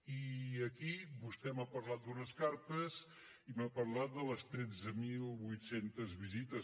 i aquí vostè m’ha parlat d’unes cartes i m’ha parlat de les tretze mil vuit cents visites